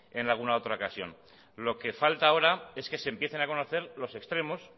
en alguna otra ocasión lo que falta ahora es que se empiecen a conocer los extremos